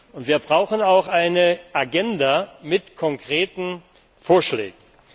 Und wir brauchen auch eine Agenda mit konkreten Vorschlägen.